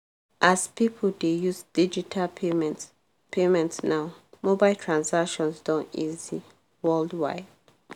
as people dey use digital payment payment now mobile transactions don easy worldwide.